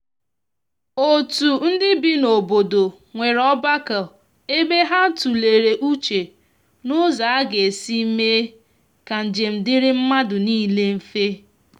otu ndi bị n'obodo nwere ogbako ebe ha tulere uche n'ụzọ aga esi mee ka njem diri madu nile mfe.